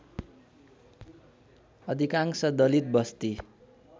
अधिकांश दलित वस्ती